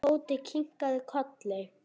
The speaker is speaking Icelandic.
Tóti kinkaði kolli.